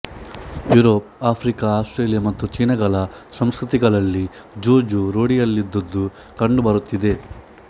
Europe Africa Australia ಮತ್ತು ಚೀನಗಳ ಸಂಸ್ಕತಿಗಳಲ್ಲಿ ಜೂಜು ರೂಢಿಯಲ್ಲಿದ್ದುದು ಕಂಡುಬರುತ್ತಿದೆ